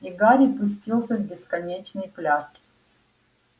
и гарри пустился в бесконечный пляс